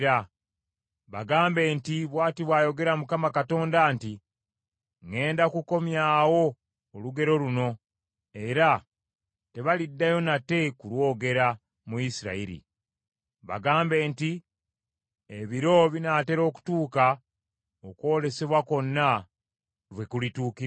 Bagambe nti, ‘Bw’ati bw’ayogera Mukama Katonda nti, ŋŋenda kukomya olugero luno, era tebaliddayo nate kulwogera, mu Isirayiri.’ Bagambe nti, ‘Ebiro binaatera okutuuka, okwolesebwa kwonna lwe kulituukirira.